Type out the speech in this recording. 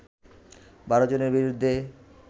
১২ জনের বিরুদ্ধে